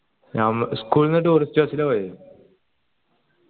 school ന്ന് touris bus ല പോയത്